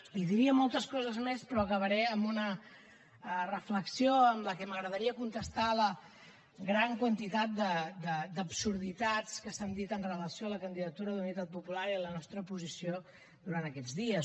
i diria moltes coses més però acabaré amb una reflexió amb què m’agradaria contestar la gran quantitat d’absurditats que s’han dit amb relació a la candidatura d’unitat popular i la nostra posició durant aquests dies